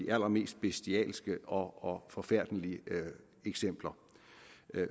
allermest bestialske og forfærdelige eksempler